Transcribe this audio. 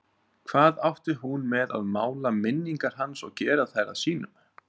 Hvað átti hún með að mála minningar hans og gera þær að sínum?